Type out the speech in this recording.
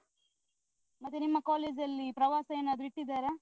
ಮತ್ತೆ ನಿಮ್ಮ college ಅಲ್ಲಿ ಪ್ರವಾಸ ಏನಾದ್ರು ಇಟ್ಟಿದ್ದಾರಾ?